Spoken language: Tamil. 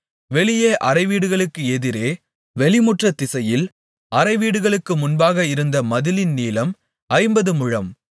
வெளியே அறைவீடுகளுக்கு எதிரே வெளிமுற்றத் திசையில் அறைவீடுகளுக்கு முன்பாக இருந்த மதிலின் நீளம் ஐம்பது முழம்